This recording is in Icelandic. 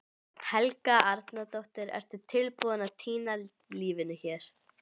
Helga Arnardóttir: Ertu tilbúinn að týna lífinu hér?